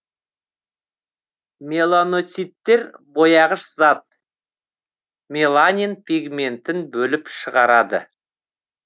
меланоциттер бояғыш зат меланин пигментін бөліп шығарады